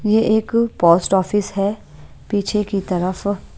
ये एक post office है पीछे की तरफ--